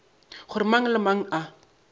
gore mang le mang a